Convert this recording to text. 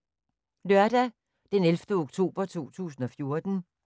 Lørdag d. 11. oktober 2014